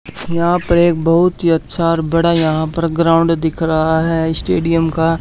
यहां पर एक बहुत ही अच्छा और बड़ा यहां पर ग्राउंड दिख रहा है स्टेडियम का।